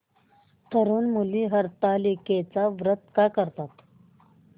तरुण मुली हरतालिकेचं व्रत का करतात